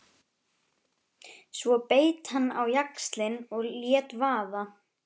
Svo beit hann á jaxlinn og lét vaða.